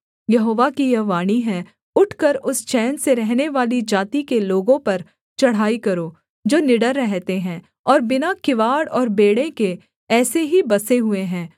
यहोवा की यह वाणी है उठकर उस चैन से रहनेवाली जाति के लोगों पर चढ़ाई करो जो निडर रहते हैं और बिना किवाड़ और बेंड़े के ऐसे ही बसे हुए हैं